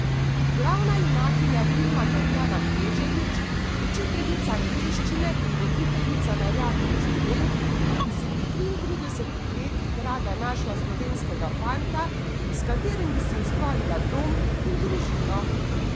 Glavna junakinja filma Tatjana Kneževič, učiteljica angleščine in voditeljica na radiu Študent, bi si pri triintridesetih letih rada našla slovenskega fanta, s katerim bi si ustvarila dom in družino.